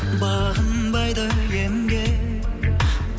бағынбайды емге